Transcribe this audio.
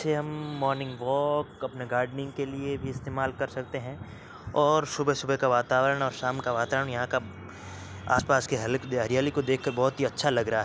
हम्म morning walk अपने gardening के लिए भी इस्तमाल कर सकते हैं और सुबह-सुबह का वातावरण और शाम का वातावरण यहाँ का आसपास का हाल हरियाली को देख के बहुत अच्छा लग रहा है।